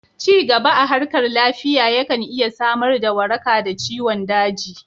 Cigaba a harkar lafiya ya kan iya samar da waraka da ciwon daji